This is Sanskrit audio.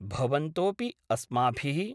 भवन्तोपि अस्माभि: